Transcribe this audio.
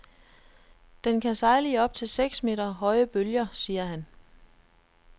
Den kan sejle i op til seks meter høje bølger, siger han.